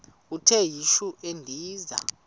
uthi yishi endiza